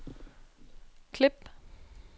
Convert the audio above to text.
klip